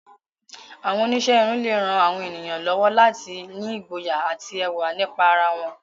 Àwọn oníṣẹ́ irun lè ran àwọn ènìyàn lọ́wọ́ láti ní ìgboyà àti ẹwà nípa ara wọn.